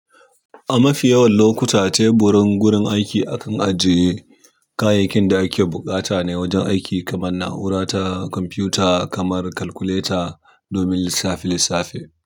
A mafi yawan lokuta, teburin gurin aiki akan ajiye kayayyakin da ake buƙata ne wajen aiki kamar na'ura ta kwamfuta kamar kalkuleta domin lissafe-lissafe.